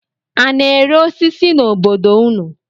A na-ere osisi n'obodo unu?